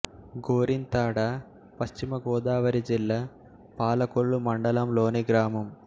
గోరింతాడ పశ్చిమ గోదావరి జిల్లా పాలకొల్లు మండలం లోని గ్రామం